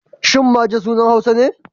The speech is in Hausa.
Shin Maje sunan Hausa ne?